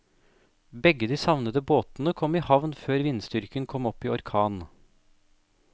Begge de savnede båtene kom i havn før vindstyrken kom opp i orkan.